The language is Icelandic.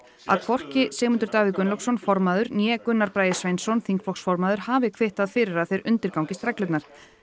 að hvorki Sigmundur Davíð Gunnlaugsson formaður né Gunnar Bragi Sveinsson þingflokksformaður hafi kvittað fyrir að þeir undirgangist reglurnar